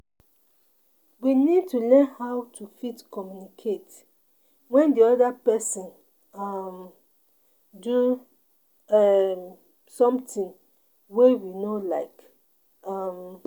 We need to learn how to fit communicate when di oda person um do um something wey we no like um